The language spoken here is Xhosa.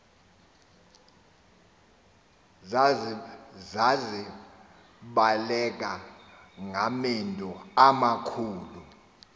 zazibaleka ngamendu amakhulu